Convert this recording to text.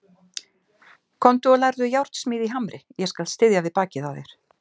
Komdu og lærðu járnsmíði í Hamri, ég skal styðja við bakið á þér.